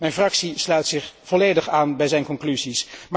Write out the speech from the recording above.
Mijn fractie sluit zich volledig aan bij zijn conclusies.